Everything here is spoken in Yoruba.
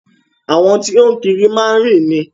Àwọn tí o ń kiri má ń rìn ni.